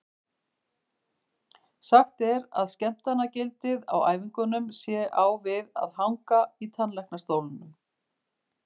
Sagt er að skemmtanagildið á æfingunum sé á við að hanga í tannlæknastólnum.